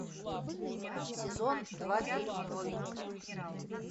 сезон два фильма новенькая